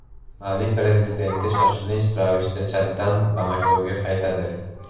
Mali prezidenti shoshilinch ravishda Chaddan Bamakoga qaytadi.